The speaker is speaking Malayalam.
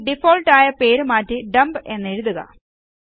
ഇനിഡിഫാൾട്ട് ആയ പേര് മാറ്റി ഡംപ് എന്നെഴുതുക